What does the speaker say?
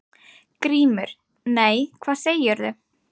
GRÍMUR: Nei, hvað segirðu?